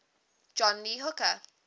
john lee hooker